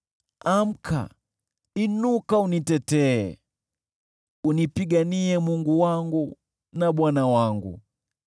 Amka, inuka unitetee! Unipiganie Mungu wangu na Bwana wangu.